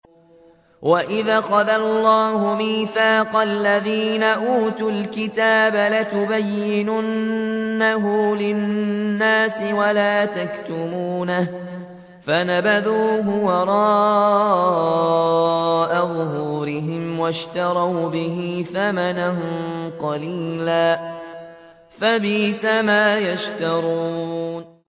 وَإِذْ أَخَذَ اللَّهُ مِيثَاقَ الَّذِينَ أُوتُوا الْكِتَابَ لَتُبَيِّنُنَّهُ لِلنَّاسِ وَلَا تَكْتُمُونَهُ فَنَبَذُوهُ وَرَاءَ ظُهُورِهِمْ وَاشْتَرَوْا بِهِ ثَمَنًا قَلِيلًا ۖ فَبِئْسَ مَا يَشْتَرُونَ